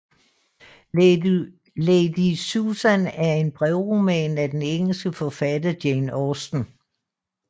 Lady Susan er en brevroman af den engelske forfatter Jane Austen